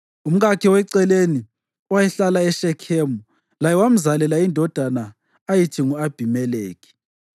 Umkakhe weceleni, owayehlala eShekhemu, laye wamzalela indodana ayithi ngu-Abhimelekhi.